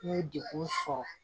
N ye degun sɔrɔ